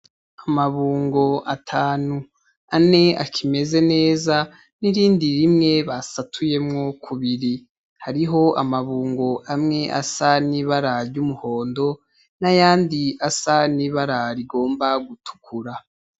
Amabungo atanu, ane akimeze neza n'irindi rimwe basatuyemo kubiri. Hariho amabungo amwe asa n'ibara ry'umuhondo, n’ayandi asa n'ibara rigomba gutukura.